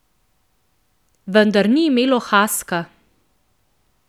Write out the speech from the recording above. Vendar ni imelo haska.